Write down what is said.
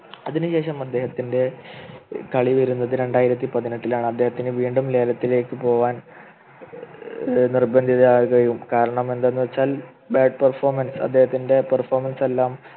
അതിനുശേഷം അദ്ദേഹത്തിൻ്റെ കളി വരുന്നത് രണ്ടായിരത്തി പതിനെട്ടിലാണ് അദ്ദേഹത്തിന് വീണ്ടും ലേലത്തിലേക്ക് പോവാൻ ഏർ നിർബന്ധിതനായ കാരണമെന്തെന്ന് വെച്ചാൽ Bad Perfomance അദ്ദേഹത്തിൻ്റെ Perfomance എല്ലാം